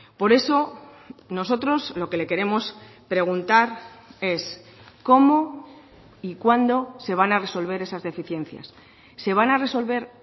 por eso nosotros lo que le queremos preguntar es cómo y cuándo se van a resolver esas deficiencias se van a resolver